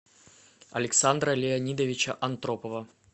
александра леонидовича антропова